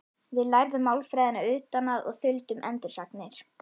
Við lærðum málfræðina utan að og þuldum endursagnir.